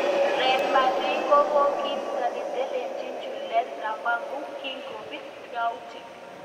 Real Madrid kokiisto neteleljin Julen Lopetegu kingobit yautik.